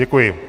Děkuji.